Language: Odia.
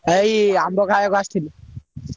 ଏଇ ଆମ୍ବ ଖାୟାକୁ ଆସିଥିଲି।